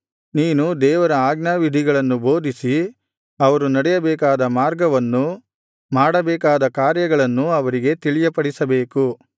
ನೀನು ದೇವರ ಆಜ್ಞಾವಿಧಿಗಳನ್ನು ಬೋಧಿಸಿ ಅವರು ನಡೆಯಬೇಕಾದ ಮಾರ್ಗವನ್ನೂ ಮಾಡಬೇಕಾದ ಕಾರ್ಯಗಳನ್ನೂ ಅವರಿಗೆ ತಿಳಿಯಪಡಿಸಬೇಕು